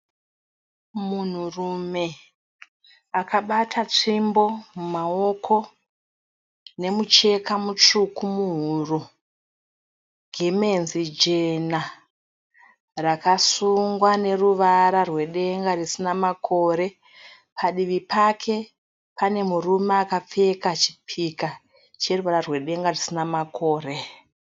Munhurume akabata nzvimbo mumawoko nemucheka mutsvuku muhuro, gemenzi jena rakasungwa neruvara rwedenga risina makore. Padivi pake pane murume akapfeka chipika cheruvara rwedenga risina makure.